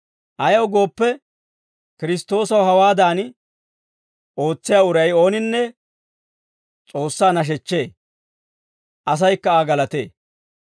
Ayaw gooppe, Kiristtoosaw hawaadan ootsiyaa uray ooninne S'oossaa nashechchee; asaykka Aa galatee.